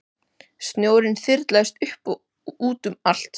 Snjórinn þyrlaðist upp og út um allt.